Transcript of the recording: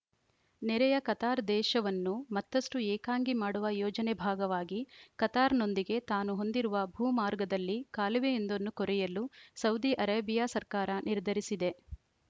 ನೆರೆಯ ಕತಾರ್‌ ದೇಶವನ್ನು ಮತ್ತಷ್ಟುಏಕಾಂಗಿ ಮಾಡುವ ಯೋಜನೆ ಭಾಗವಾಗಿ ಕತಾರ್‌ನೊಂದಿಗೆ ತಾನು ಹೊಂದಿರುವ ಭೂಮಾರ್ಗದಲ್ಲಿ ಕಾಲುವೆಯೊಂದನ್ನು ಕೊರೆಯಲು ಸೌದಿ ಅರೇಬಿಯಾ ಸರ್ಕಾರ ನಿರ್ಧರಿಸಿದೆ